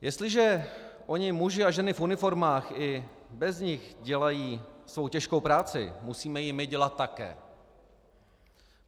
Jestliže oni muži a ženy v uniformách i bez nich dělají svou těžkou práci, musíme ji my dělat také.